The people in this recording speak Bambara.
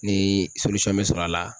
Ni bɛ sɔrɔ a la?